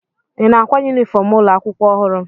Ị na-ákwá yunifọm ụlọ akwụkwọ ọhụrụ?